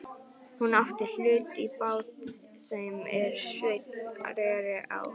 Hún átti hlut í bát þeim er Sveinn reri á.